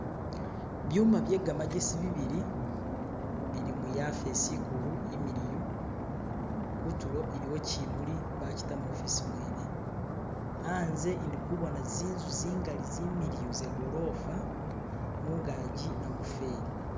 byuma byegamjesi bibili bili muyafesi ikulu imiliyu kutulo iliwo kyimuli bakita mu ofisi mwene anze indikubona zinzu zingali zimiliyu zagolofa mungaji namufeli